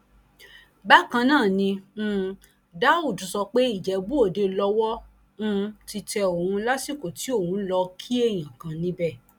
bákan náà ni um daud sọ pé ìjẹbúòde lowó um ti tẹ òun lásìkò tí òun lọọ kí èèyàn kan níbẹ